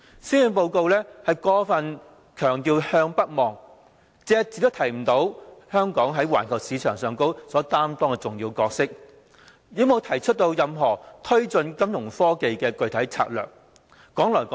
施政報告過分強調"向北望"，隻字不提香港在環球市場上的重要角色，亦沒有提出任何推動金融科技發展的具體策略。